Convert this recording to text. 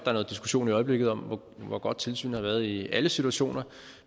er noget diskussion i øjeblikket om hvor godt tilsynet har været i alle situationer